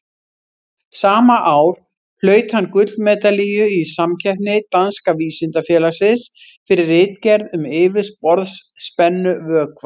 Sama ár hlaut hann gullmedalíu í samkeppni Danska vísindafélagsins, fyrir ritgerð um yfirborðsspennu vökva.